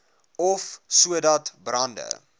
af sodat brande